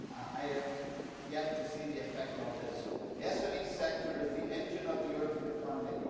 I have yet to see the effect of this. The SME sector is the engine of the European economy.